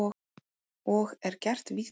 Og er gert víða.